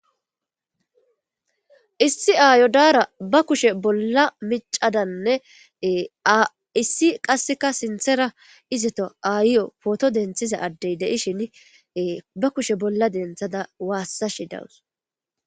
issi aayo daara ba kushe bolla micadanne issi qasseka sinthera izeto ayiyo pooto denthiza addey deishin ba kushe bolla denthada waassashi dawus